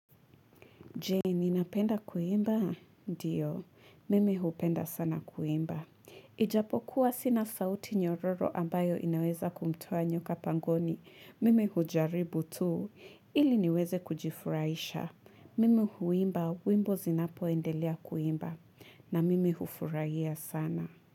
Je, ninapenda kuimba? Ndio, mimi hupenda sana kuimba. Ijapokuwa sina sauti nyororo ambayo inaweza kumtoa nyoka pangoni. Mimi hujaribu tu, ili niweze kujifurahisha. Mimi huimba, wimbo zinapoendelea kuimba. Na mimi hufurahia sana.